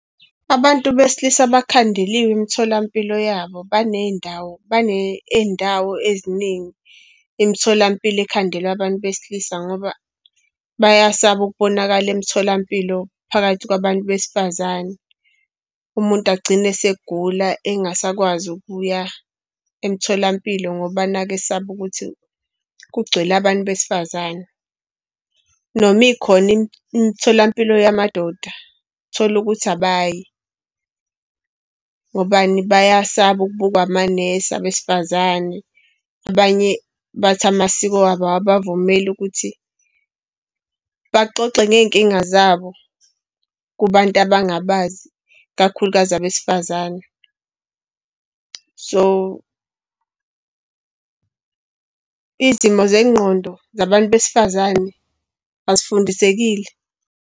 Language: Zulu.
Abantu besilisa bakhandeliwe imitholampilo yabo, baney'ndawo iy'ndawo eziningi. Imitholampilo ekhandelwa abantu besilisa ngoba bayasaba ukubonakala emtholampilo phakathi kwabantu besifazane. Umuntu agcine esegula engasakwazi ukuya emtholampilo ngoba nakhu usaba ukuthi kugcwele abantu besifazane. Noma ikhona imitholampilo yamadoda uthola ukuthi abayi. Ngobani? Bayasaba ukubukwa amanesi abesifazane, abanye bathi amasiko wabo abawavumeli ukuthi baxoxe ngey'nkinga zabo kubantu abangabazi, ikakhulukazi abesifazane. So, izimo zengqondo, zabantu besifazane azifundisekile.